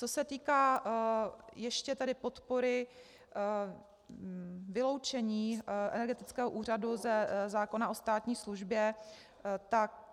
Co se týká ještě tedy podpory vyloučení energetického úřadu ze zákona o státní službě, tak...